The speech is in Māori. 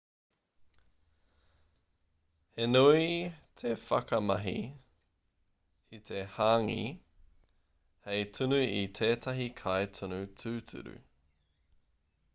he nui te whakamahi i te hāngī hei tunu i tētahi kai tunu tūturu